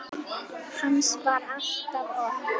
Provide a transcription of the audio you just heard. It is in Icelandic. Hans var alltaf okkar.